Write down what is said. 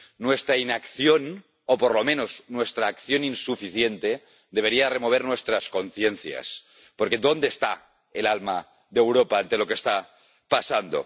Nuestra inacción o por lo menos nuestra acción insuficiente debería remover nuestras conciencias. Porque, ¿dónde está el alma de Europa ante lo que está pasando?